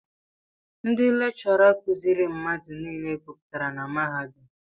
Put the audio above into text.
Ndị lekchọra kuziiri mmadụ nile guputara na mahadum.